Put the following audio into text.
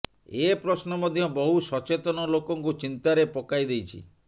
ଏ ପ୍ରଶ୍ନ ମଧ୍ୟ ବହୁ ସଚେତନ ଲୋକଙ୍କୁ ଚିନ୍ତାରେ ପକାଇଦେଇଛି